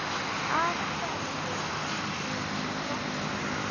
Af hverju ekki Messi?